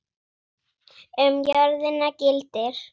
Um jörðina gildir